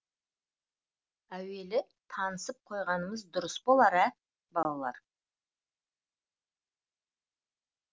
әуелі танысып қойғанымыз дұрыс болар ә балалар